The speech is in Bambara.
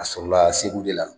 A sɔrɔla segu de la